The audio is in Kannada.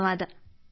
ಧನ್ಯವಾದ